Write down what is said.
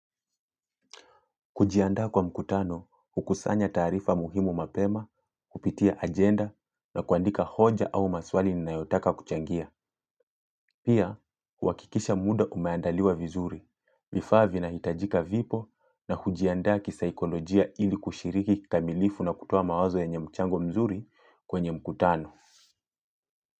Kujiandaa kwa mkutano hukusanya taarifa muhimu mapema, kupitia agenda na kuandika hoja au maswali ninayotaka kuchangia. Pia, huhakikisha muda umeandaliwa vizuri. Vifaa vinahitajika vipo na hujiandaa kisaikolojia ili kushiriki kikamilifu na kutoa mawazo yenye mchango mzuri kwenye mkutano.